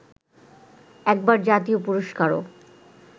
একবার জাতীয় পুরস্কারও